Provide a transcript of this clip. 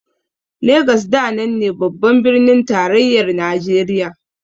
Legas da nan ne babban birnin tarayyar Najeriya.